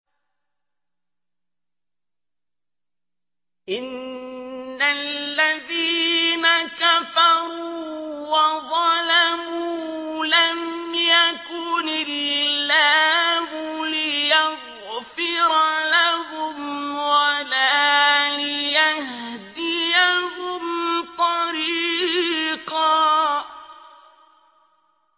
إِنَّ الَّذِينَ كَفَرُوا وَظَلَمُوا لَمْ يَكُنِ اللَّهُ لِيَغْفِرَ لَهُمْ وَلَا لِيَهْدِيَهُمْ طَرِيقًا